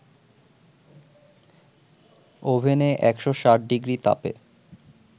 ওভেনে ১৬০ ডিগ্রি তাপে